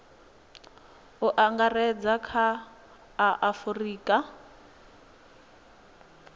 u angaredza kha a afurika